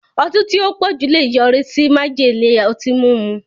Ọtí tí ó pọ̀jù lè yọrí sí májèlé ọtí mímu.